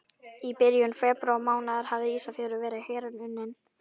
Í byrjun febrúarmánaðar hafði Ísafjörður verið hernuminn.